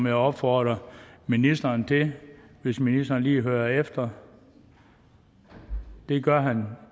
jeg opfordre ministeren til hvis ministeren lige hører efter det gør han